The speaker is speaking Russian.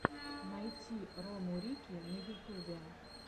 найти рому рикки на ютубе